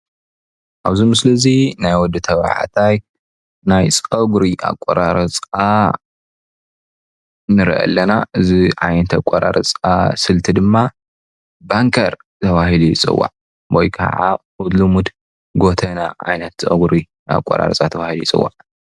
ኣብ ምስሊ እዙይ ናይ ወዲ ተባዕታይ ናይ ፀጉሪ ኣቆራርፃ ንርኢ ኣለና። እዚ ዓይነት ኣቆራርፃ ስልቲ ድማ ባንከር ተባሂሉ ይፅዋዕ ወይከዓ ብልሙድ ጎተና ዓይነት ፀጉሪ ኣቆራርፃ ተባሂሉ ይፅዋዕ።